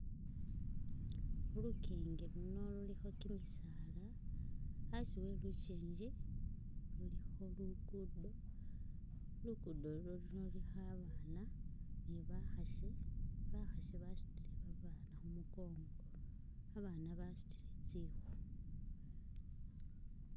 Khu luking luno lulikho kimisaala, asi wa lukingi lulikho lugudo. Lugudo luno lulikho abaana ni bakhasi, bakhasi basutile babaana khumikongo abasna basutile tsikhu.